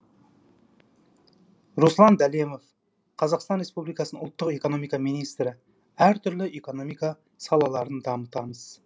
руслан дәленов қр ұлттық экономика министрі әртүрлі экономика салаларын дамытамыз